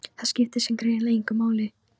Það skipti samt greinilega engu máli.